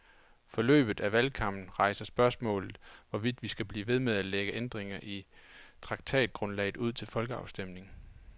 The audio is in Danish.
Forløbet af valgkampen rejser spørgsmålet, hvorvidt vi skal blive ved med at lægge ændringer i traktatgrundlaget ud til folkeafstemning.